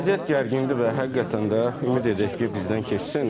Vəziyyət gərginlikdə və həqiqətən də ümid edək ki, bizdən keçsin.